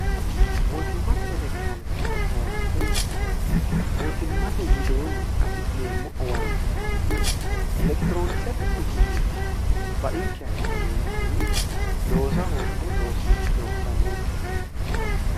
mootimmate elekitiroonikisete owaante mootimmate widoonni afi'neemmo owaante ikkitanna elekitiroonikisete uduunnichi bainkeha ikkiroontinni loosa hoogiro loossannoonkenno